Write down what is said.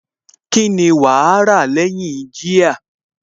Kíni wàá rà lẹ́yìn jíà?